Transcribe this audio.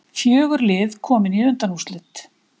Fjögur lið komin í undanúrslitin